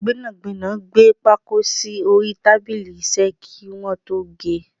Gbẹ́nàgbẹ́nà gbé pákó sì orí tábìlì iṣẹ́ kí wọn tó ge.